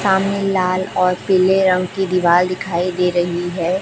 सामने लाल और पीले रंग की दीवाल दिखाई दे रहीं हैं।